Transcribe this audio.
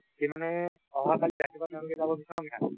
সি মানে অহা কালি ৰাতিপুৱা যাব তেওঁলোকে যাব বিশ্বনাথ ঘাট